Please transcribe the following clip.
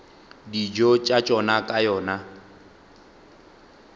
dijo tša tšona ka yona